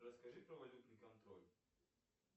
расскажи про валютный контроль